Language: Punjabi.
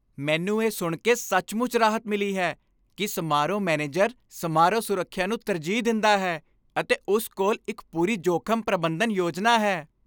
ਮੈਨੂੰ ਇਹ ਸੁਣ ਕੇ ਸੱਚਮੁੱਚ ਰਾਹਤ ਮਿਲੀ ਹੈ ਕਿ ਸਮਾਰੋਹ ਮੈਨੇਜਰ ਸਮਾਰੋਹ ਸੁਰੱਖਿਆ ਨੂੰ ਤਰਜੀਹ ਦਿੰਦਾ ਹੈ ਅਤੇ ਉਸ ਕੋਲ ਇੱਕ ਪੂਰੀ ਜੋਖ਼ਮ ਪ੍ਰਬੰਧਨ ਯੋਜਨਾ ਹੈ।